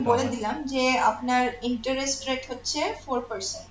বলে দিলাম যে আপনার interest rate হচ্ছে four percent